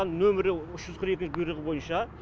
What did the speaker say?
нөмірі үш жүз қырық екі бұйрығы бойынша